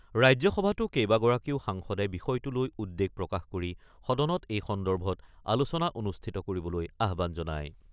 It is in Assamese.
ৰাজ্যসভাতো কেইবাগৰাকীও সাংসদে বিষয়টো লৈ উদ্বেগ প্ৰকাশ কৰি সদনত এই সন্দৰ্ভত আলোচনা অনুষ্ঠিত কৰিবলৈ আহ্বান জনায়।